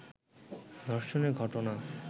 ধর্ষণের ঘটনা